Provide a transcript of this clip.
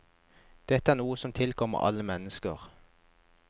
Dette er noe som tilkommer alle mennesker.